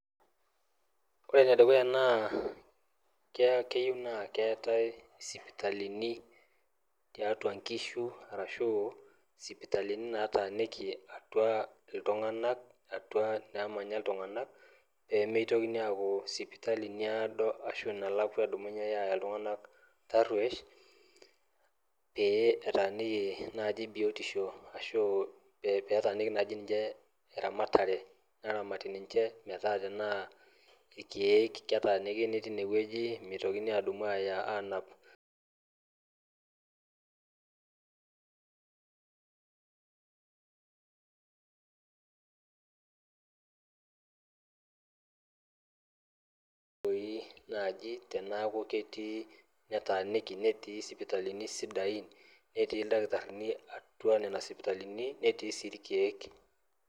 Ore enedukuya naa keyieu naa keetae sipitalini tiatua nkishu peemeitoki aku sipitali nalakwa eyai ltung'anak tarruesh petaaniki biotisho ashu eramatare naramati ninche tanaa irkiek medumuni anap pee nai teneaku ketii ildakitarini sidain atua nona sipitalini netii si irkiek.